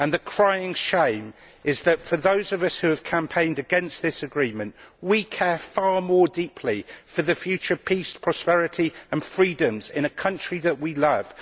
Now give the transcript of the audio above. And the crying shame is that those of us who have campaigned against this agreement care deeply for the future peace, prosperity and freedoms in a country that we love.